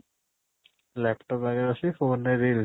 laptop ଆଗରେ ବସିକି phone ରେ reels